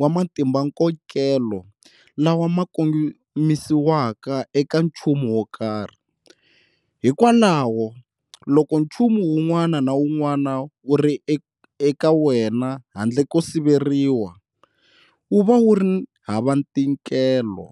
wa matimbankokelo lawa ma kongimisiwaka eka nchumu wokarhi. Hikwalaho, loko chumu wun'wana na wun'wana wuri eka wena handle ko siveriwa, wuva wuri hava ntikelo.